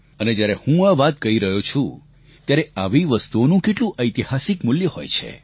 અને જ્યારે હું આ વાત કહી રહ્યો છું ત્યારે આવી વસ્તુઓનું કેટલું ઐતિહાસિક મૂલ્ય હોય છે